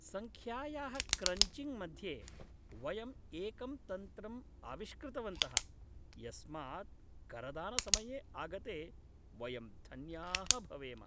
सङ्ख्यायाः क्रञ्चिङ्ग् मध्ये, वयं एकं तन्त्रं आविष्कृतवन्तः, यस्मात् करदानसमये आगते वयं धन्याः भवेम।